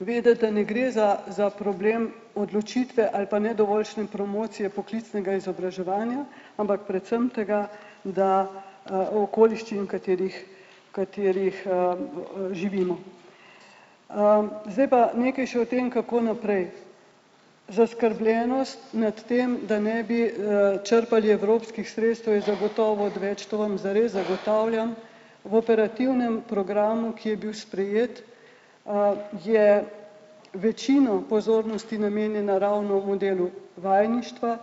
vedeti, da ne gre za za problem odločitve ali pa nedovoljšne promocije poklicnega izobraževanja, ampak predvsem tega, da, v okoliščinah, katerih, katerih, živimo. Zdaj pa nekaj še o tem, kako naprej. Zaskrbljenost nad tem, da ne bi, črpali evropskih sredstev, je zagotovo odveč, to vam zares zagotavljam, v operativnem programu, ki je bil sprejet, je večino pozornosti namenjene ravno modelu vajeništva,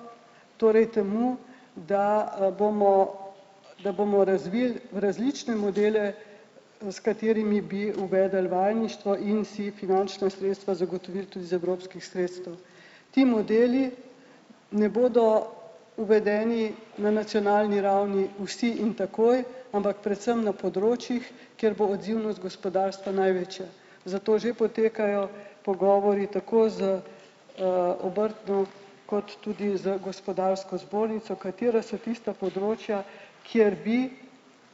torej temu, da, bomo, da bomo razvili različne modele, s katerimi bi uvedli vajeništvo in si finančna sredstva zagotovili tudi iz evropskih sredstev. Ti modeli ne bodo uvedeni na nacionalni ravni vsi in takoj, ampak predvsem na področjih, kjer bo odzivnost gospodarstva največja, zato že potekajo pogovori tako z, obrtno kot tudi z gospodarsko zbornico, katera so tista področja, kjer bi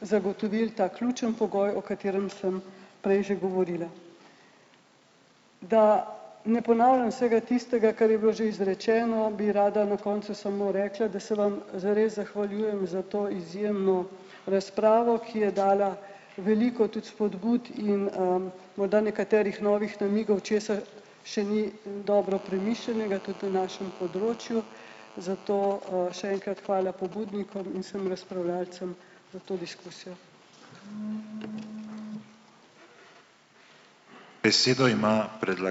zagotovili ta ključni pogoj, o katerem sem prej že govorila. Da ne ponavljam vsega tistega, kar je bilo že izrečeno, bi rada na koncu samo rekla, da se vam zares zahvaljujem za to izjemno razpravo, ki je dala veliko tudi spodbud in, morda nekaterih novih namigov, česa še ni dobro premišljenega tudi v našem področju, zato še enkrat hvala pobudnikom in vsem razpravljavcem za to diskusijo.